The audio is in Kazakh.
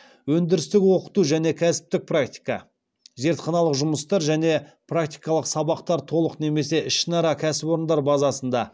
өндірістік оқыту және кәсіптік практика зертханалық жұмыстар және практикалық сабақтар толық немесе ішінара кәсіпорындар базасында